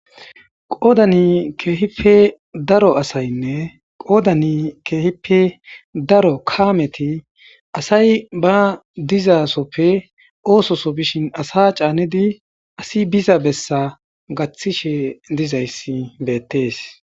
Qoodani keehipe daro asaynne qoodani keehippe daro kaameti asay ba dizasoppe oososo bishin asa caanidi asi biza bessa gaththishe dizayssi beettees